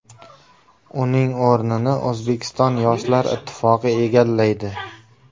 Uning o‘rnini O‘zbekiston Yoshlar ittifoqi egallaydi.